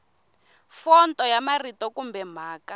fonto ya marito kumbe mhaka